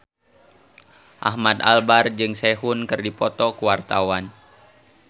Ahmad Albar jeung Sehun keur dipoto ku wartawan